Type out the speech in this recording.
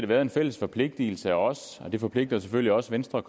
været en fælles forpligtigelse og det forpligter selvfølgelig også venstre